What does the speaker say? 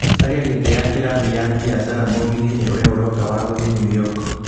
caria gĩtĩ ya kĩrathi ya biacara mũgithi-inĩ ũrĩa ũroka wa gũthiĩ New York